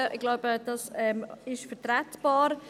Ich denke, das ist vertretbar.